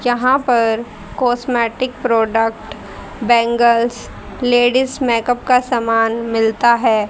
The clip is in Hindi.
यहाँ पर cosmetic product bangles ladies makeup का सामान मिलता हैं।